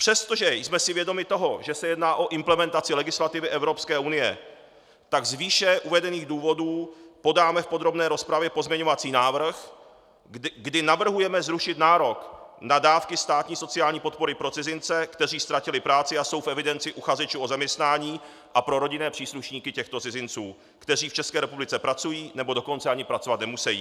Přestože jsme si vědomi toho, že se jedná o implementaci legislativy Evropské unie, tak z výše uvedených důvodů podáme v podrobné rozpravě pozměňovací návrh, kdy navrhujeme zrušit nárok na dávky státní sociální podpory pro cizince, kteří ztratili práci a jsou v evidenci uchazečů o zaměstnání, a pro rodinné příslušníky těchto cizinců, kteří v České republice pracují, nebo dokonce ani pracovat nemusejí.